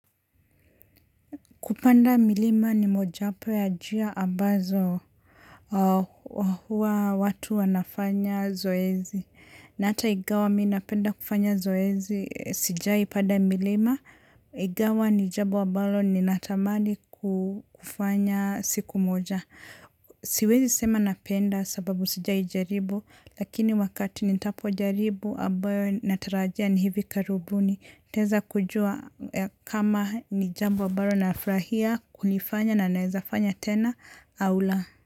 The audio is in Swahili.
Kupanda milima ni mojawapo ya njia ambazo watu wanafanya zoezi. Na hata ingawa mi napenda kufanya zoezi, sijai panda milima. Ingawa ni jambo ambalo ninatamani kufanya siku moja. Siwezi sema napenda sababu sijai jaribu. Lakini wakati nitapojaribu ambayo natarajia ni hivi karibuni. Nitaweza kujua kama ni jambo ambayo nafurahia kuifanya na naeza fanya tena au la.